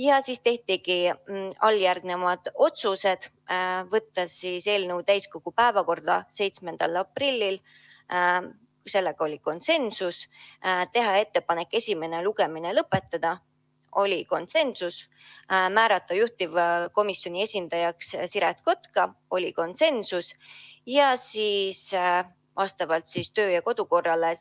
Pärast seda tehti alljärgnevad konsensuslikud otsused: võtta eelnõu täiskogu päevakorda 7. aprilliks, teha ettepanek esimene lugemine lõpetada, määrata juhtivkomisjoni esindajaks Siret Kotka ning vastavalt kodu- ja töökorrale